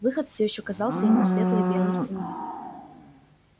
выход всё ещё казался ему светлой белой стеной